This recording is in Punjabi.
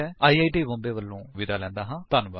ਆਈ ਆਈ ਟੀ ਮੁਂਬਈ ਵਲੋਂ ਮੈਂ ਹੁਣ ਤੁਹਾਡੇ ਤੋਂ ਵਿਦਾ ਲੈਂਦਾ ਹਾਂ